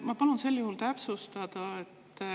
Ma palun sel juhul täpsustada.